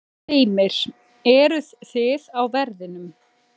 Heimir: Eruð þið á verðinum?